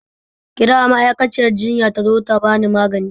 Kira ma'aikaciyar jinya ta zo ta bani magani